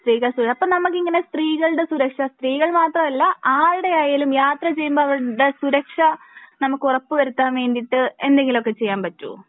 ശെരിയാ ശെരിയാ അപ്പൊ നമുക്കിങ്ങനെ സ്ത്രീകളുടെ സുരക്ഷ സ്ത്രീകൾ മാത്രമല്ല ആരുടെ ആയാലും യാത്ര ചെയ്യുമ്പോൾ അവരുടെ സുരക്ഷ നമുക്ക് ഉറപ്പ് വരുത്താൻ വേണ്ടിട്ട് എന്തെങ്കിലും ഒക്കെ ചെയ്യാൻ പറ്റോ